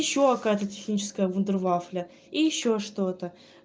ещё какая-то техническая вундервафля и ещё что-то